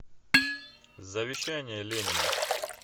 завещание ленина